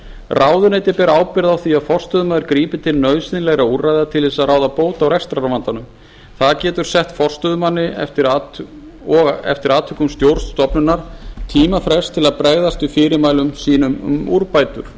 ráðuneyti ber ábyrgð á því að forstöðumaður grípi til nauðsynlegra úrræða til þess að ráða bót á rekstrarvandanum það getur sett forstöðumanni og eftir atvikum stjórn stofnunar tímafrest til þess að bregðast við fyrirmælum sínum um úrbætur